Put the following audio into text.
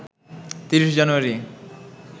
৩০ জানুয়ারি